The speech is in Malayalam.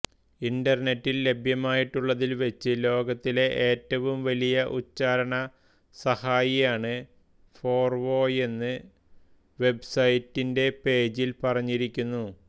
ഇൻറർനെറ്റിൽ ലഭ്യമായിട്ടുള്ളതിൽ വെച്ച് ലോകത്തിലെ ഏറ്റവും വലിയ ഉച്ചാരണസഹായിയാണ് ഫോർവോയെന്ന് വെബ്സൈറ്റിന്റെ പേജിൽ പറഞ്ഞിരിക്കുന്നു